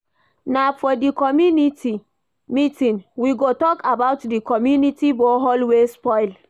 Na for di community meeting we go tok about di community borehole wey spoil.